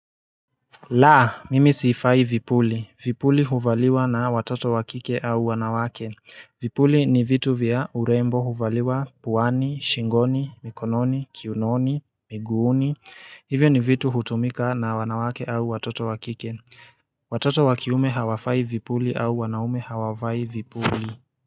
Laa mimi siifai vipuli, vipuli huvaliwa na watoto wa kike au wanawake Vipuli ni vitu vya urembo huvaliwa puani, shingoni, mikononi, kiunoni, miguuni Hivyo ni vitu hutumika na wanawake au watoto wa kike Watoto wa kiume hawafai vipuli au wanaume hawavai vipuli.